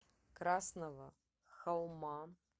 красного холма